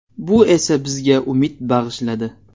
Bu esa bizga umid bag‘ishladi.